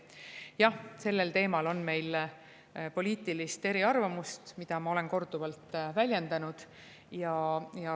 Jah, sellel teemal on meil poliitilisi eriarvamusi, mida ma olen korduvalt väljendanud.